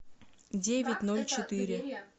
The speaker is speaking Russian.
девять ноль четыре